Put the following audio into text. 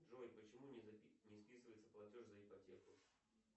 джой почему не списывается платеж за ипотеку